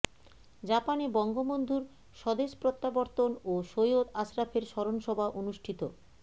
জাপানে বঙ্গবন্ধুর স্বদেশ প্রত্যাবর্তন ও সৈয়দ আশরাফের স্মরণ সভা অনুষ্ঠিত